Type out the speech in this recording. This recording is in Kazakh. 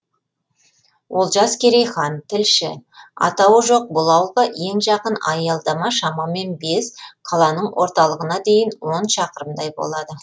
олжас керейхан тілші атауы жоқ бұл ауылға ең жақын аялдама шамамен бес қаланың орталығына дейін он шақырымдай болады